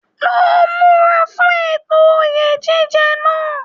Lọ múra fún ètò oyè jíjẹ náà!